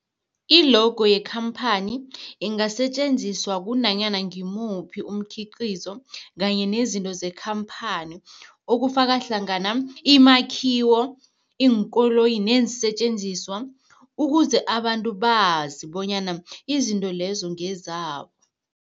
I-logo yekhamphani ingasetjenziswa kunanyana ngimuphi umkhiqizo kanye nezinto zekhamphani okufaka hlangana imakhiwo, iinkoloyi neensentjenziswa ukuze abantu bazi bonyana izinto lezo ngezabo.